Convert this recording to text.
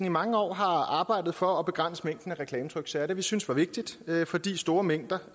i mange år har arbejdet for at begrænse mængden af reklametryksager det vi syntes var vigtigt fordi store mængder